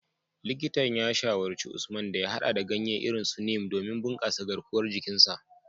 Likitan ya shawarci Usman da ya hada da ganye irin su Neem domin bunkasa garkuwar jikin sa.